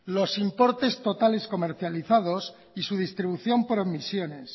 los importes totales comercializados y su distribución por omisiones